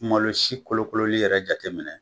Malo si kolokololi yɛrɛ jateminɛ